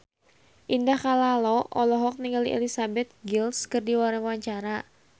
Indah Kalalo olohok ningali Elizabeth Gillies keur diwawancara